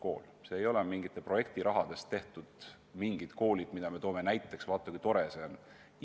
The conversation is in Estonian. Ei tohi olla nii, et meil on vaid mingite projektirahade toel välja valitud koolid, mida me eeskujuks toome: vaata, kui tore see on!